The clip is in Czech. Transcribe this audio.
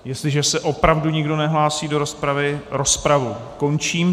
Jestliže se opravdu nikdo nehlásí do rozpravy, rozpravu končím.